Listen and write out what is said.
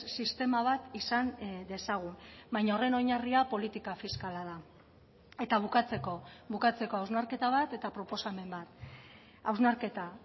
sistema bat izan dezagun baina horren oinarria politika fiskala da eta bukatzeko bukatzeko hausnarketa bat eta proposamen bat hausnarketa